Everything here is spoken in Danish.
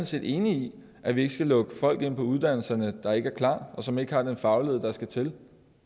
set enig i at vi ikke skal lukke folk ind på uddannelserne der ikke er klar og som ikke har den faglighed der skal til